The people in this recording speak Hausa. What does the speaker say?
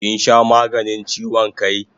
Kin sha maganin chiwon kai?